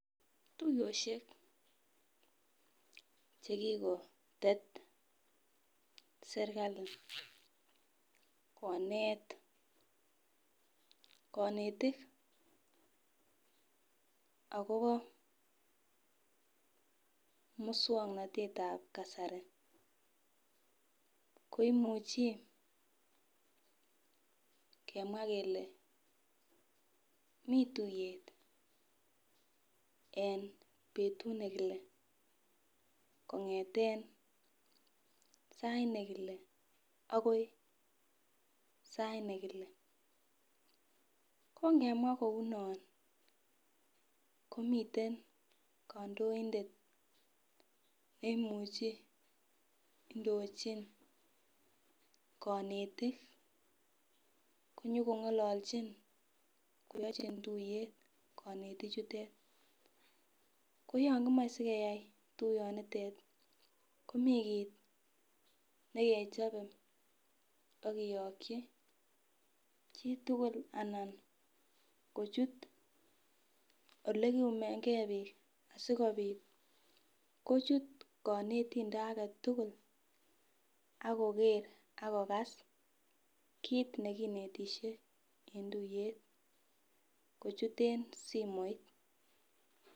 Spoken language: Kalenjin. Tuiyoshek chekikotet serikali konet konetik akobo muswongnotet ap kasari koimuchi kemwa kele mi tuiyet eng betut nekile kongeten sait nekile akoi sait nekile kongemwa kounon komiten kandoindet neimuchi indochin konetik konyoko ngololchin koyochin tuiyet konetik chutet koyon kimochei sikeyai tuyonitet komikiit neke chope akiyokchi chitugul anan kochut ole kiyumenge biik asikobit kochut konetindet age tugul ako ker ako kass kit nekinetishe en tuiyet kochuten simoit.